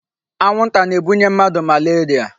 Anwụnta na-ebunye mmadụ malaria.